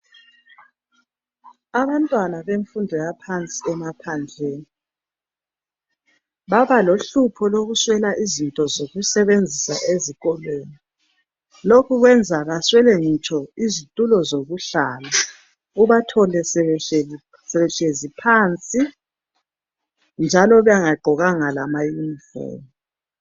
Abantwana bemfundo yaphansi emaphandleni baba lohlupho lokuswela izinto zokusebenzisa ezikolweni. Lokhu kwenza baswele ngitsho izitulo zokuhlala, ubathole sebehlezi phansi njalo bengagqokanga lama uniform.